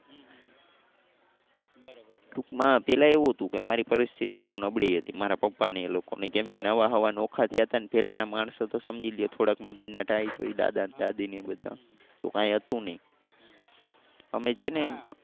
ટુંકમાં પેલા એવું હતું તો કે અમારી પરિસ્થિતિ બહુ નબળી હતી મારા પપ્પા ને એ લોકો ની કેમ કે નવા સવા નોખા થયા તા ને પેલા ના માણસો તો સમજી લો થોડાક મગજના tight હોય દાદા ને દાદી ને એ બધા તો કઈ હતું નહીં. અમે છે ને